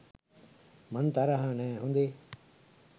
මං තරහා නෑ හොදේ